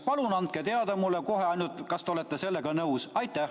Palun andke mulle kohe teada, kas te olete sellega nõus.